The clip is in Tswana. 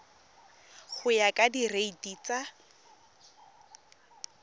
go ya ka direiti tsa